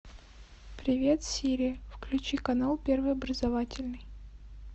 привет сири включи канал первый образовательный